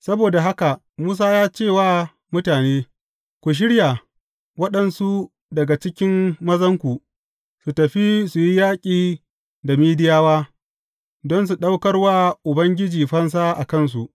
Saboda haka Musa ya ce wa mutane, Ku shirya waɗansu daga cikin mazanku, su tafi su yi yaƙi da Midiyawa don su ɗaukar wa Ubangiji fansa a kansu.